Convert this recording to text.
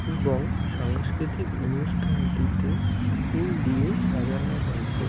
এবং সাংস্কৃতিক অনুষ্ঠানটিতে ফুল দিয়ে সাজানো হয়েছে।